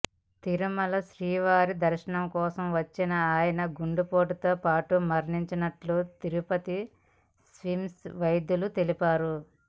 తిరుమల శ్రీవారి దర్శనం కోసం వచ్చిన ఆయన గుండెపోటుతో మరణించినట్లు తిరుపతి స్విమ్స్ వైద్యులు తెలిపారు